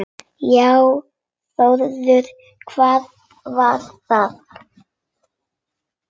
Já Þórður, hvað var það?